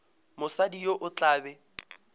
mosadi yo o tla be